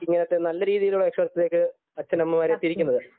ഇങ്ങനത്തെ നല്ല രീതിയിലുള്ള വിശ്വസ്ഥതക്ക് അച്ഛനമ്മമാർ എത്തിയിരിക്കുന്നത്